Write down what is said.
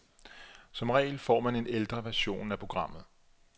Som regel får man en ældre version af programmet.